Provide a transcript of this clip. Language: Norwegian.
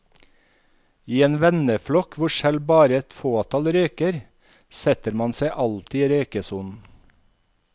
I en venneflokk hvor selv bare et fåtall røyker, setter man seg alltid i røykesonen.